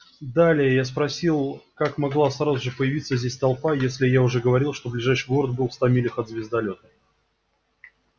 далее я спросил как могла сразу же появиться здесь толпа если я уже говорил ближайший город был в ста милях от звездолёта